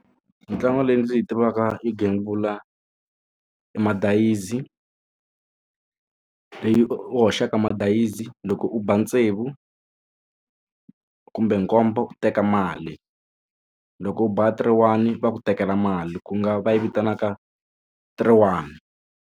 Mitlangu leyi ndzi yi tivaka yo gembula madayizi leyi u hoxaka madayizi loko u ba tsevu kumbe nkombo u teka mali loko u ba three one va ku tekela mali ku nga va yi vitanaka three one.